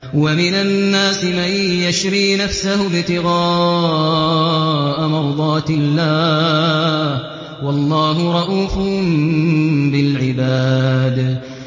وَمِنَ النَّاسِ مَن يَشْرِي نَفْسَهُ ابْتِغَاءَ مَرْضَاتِ اللَّهِ ۗ وَاللَّهُ رَءُوفٌ بِالْعِبَادِ